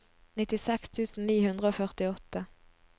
nittiseks tusen ni hundre og førtiåtte